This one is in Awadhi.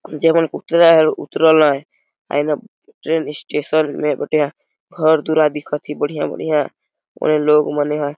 जे मन पुटी लगायल उतारल हेए और यने ट्रेन स्टेसन में कुटिया घर पूरा दिखत है बढ़िया-बढ़िया और लोग मने हय।